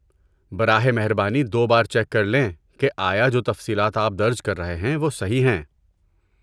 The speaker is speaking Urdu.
براہ مہربانی دو بار چیک کرلیں کہ آیا جو تفصیلات آپ درج کر رہے ہیں وہ صحیح ہیں۔